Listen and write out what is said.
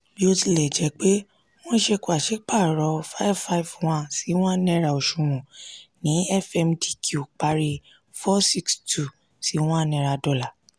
bó tilẹ̀ jẹ́ pé wọ́n ṣe pàsípàrọ̀ n551/$1 òṣùwọ̀n ní fmdq parí n462/$1.